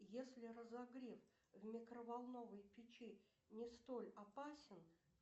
если разогрев в микроволновой печи не столь опасен